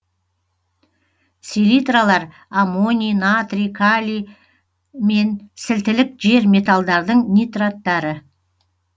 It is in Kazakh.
селитралар аммоний натрий калий мен сілтілік жер металдардың нитраттары